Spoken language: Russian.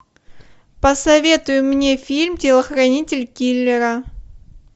посоветуй мне фильм телохранитель киллера